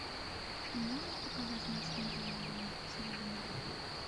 ты можешь показать морские дьяволы судьбы